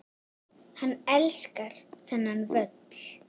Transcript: Hann elskar þennan völl.